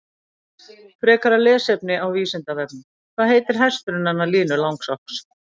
Frekara lesefni á Vísindavefnum: Hvað heitir hesturinn hennar Línu Langsokks?